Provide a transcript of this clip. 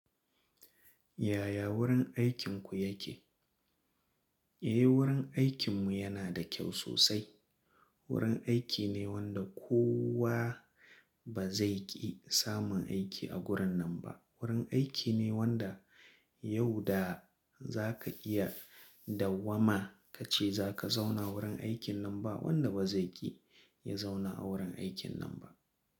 Yaya wurin aikinku yake? Eh wurin aikin mu yana da kyau sosai. Wurin aiki ne wanda kowa ba zai ƙi samun aiki a gurin nan ba. Wurin aiki ne wanda yau da za ka iya da wama ka ce za ka zauna wurin aikin nan ba wanda ba zai ƙi ya zauna a wurin aikin nan ba.